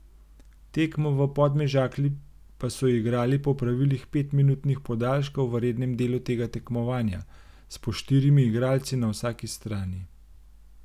Tekmo v Podmežakli pa so igrali po pravilih petminutnih podaljškov v rednem delu tega tekmovanja, s po štirimi igralci na vsaki strani.